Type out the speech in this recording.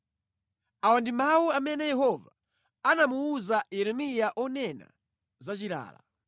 Awa ndi mawu amene Yehova anamuwuza Yeremiya onena za chilala: